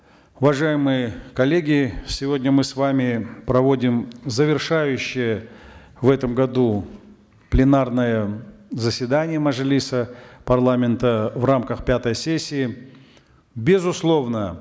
уважаемые коллеги сегодня мы с вами проводим завершающее в этом году пленарное заседание мажилиса парламента в рамках пятой сессии безусловно